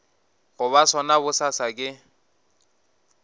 go ba sona bosasa ke